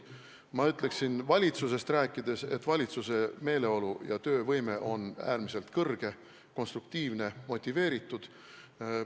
Ma ütleksin valitsusest rääkides, et valitsuse töövõime on suur ja meeleolu äärmiselt kõrge, konstruktiivne, motiveeritud.